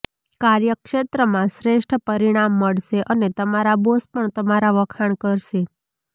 કાર્યક્ષેત્રમાં શ્રેષ્ઠ પરિણામ મળશે અને તમારા બોસ પણ તમારાં વખાણ કરશે